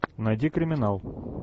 найди криминал